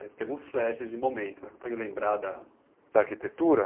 Você teve flashes de momentos, você consegue lembrar da... Da arquitetura?